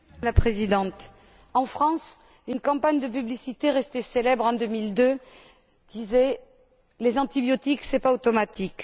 Madame la Présidente, en France, une campagne de publicité, restée célèbre en 2002, disait les antibiotiques, c'est pas automatique.